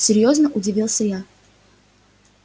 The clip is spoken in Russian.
серьёзно удивился я